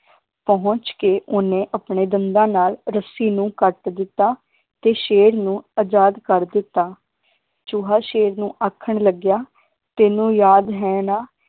ਪਹੁੰਚ ਕੇ ਓਹਨੇ ਆਪਣੇ ਦੰਦਾਂ ਨਾਲ ਰੱਸੀ ਨੂੰ ਕੱਟ ਦਿੱਤਾ ਤੇ ਸ਼ੇਰ ਨੂੰ ਅਜਾਦ ਕਰ ਦਿੱਤਾ ਚੂਹਾ ਸ਼ੇਰ ਨੂੰ ਆਖਣ ਲੱਗਿਆ ਤੈਨੂੰ ਯਾਦ ਹੈ ਨਾ